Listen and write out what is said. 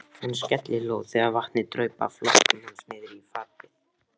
Hann skellihló þegar vatnið draup af lokkum hans niðrí fatið.